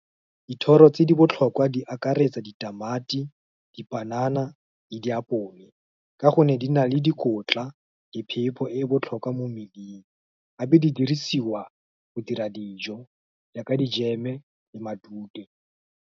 Dithoro tse di botlhokwa di akaretsa, ditamati, dipanana, le diapole, ka gonne di na le dikotla, di phepo e e botlhokwa mo mmeleng, gape di dirisiwa, go dira dijo, jaaka dijeme le matute.